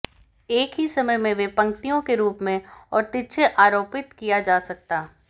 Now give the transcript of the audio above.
एक ही समय में वे पंक्तियों के रूप में और तिरछे आरोपित किया जा सकता